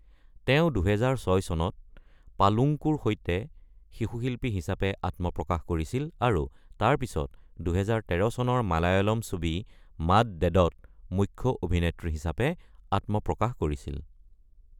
তেওঁ ২০০৬ চনত 'পালুংকু'ৰ সৈতে শিশু শিল্পী হিচাপে আত্মপ্ৰকাশ কৰিছিল আৰু তাৰ পিছত ২০১৩ চনৰ মালায়ালম ছবি 'মাদ ডেদ'ত মুখ্য অভিনেত্ৰী হিচাপে আত্মপ্ৰকাশ কৰিছিল।